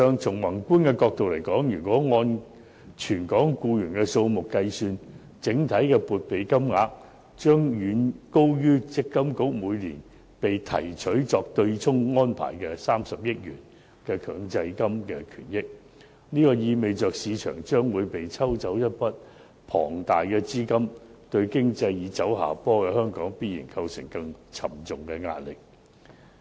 從宏觀的角度看，按全港僱員的數目計算，整體撥備金額將遠高於強制性公積金計劃管理局每年被提取用作對沖安排的30億元強積金權益，意味着市場將會被抽走一筆龐大資金，對正走下坡的本港經濟必然構成更沉重的壓力。